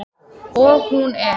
Og hún er.